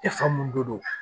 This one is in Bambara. E fa mun don do